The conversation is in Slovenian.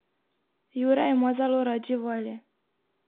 Jure ima zelo rad živali.